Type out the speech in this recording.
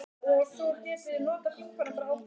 Jóhannes: Eruð þið góðir vinir?